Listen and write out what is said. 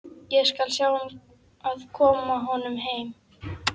Ég skal sjá um að koma honum heim.